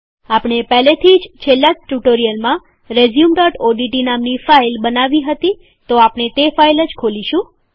આપણે પહેલેથી જ છેલ્લા ટ્યુટોરીયલમાં રેઝયુમઓડીટી નામની ફાઈલ બનાવી હતી તો આપણે તે ફાઇલ ખોલીશું